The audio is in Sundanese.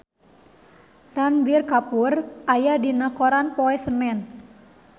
Ranbir Kapoor aya dina koran poe Senen